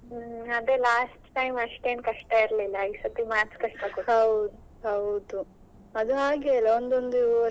Last time ಅಷ್ಟೆನ್ ಕಷ್ಟ ಇರ್ಲಿಲ್ಲ ಈ ಸತಿ Maths ಕಷ್ಟ ಕೊಟ್ರು.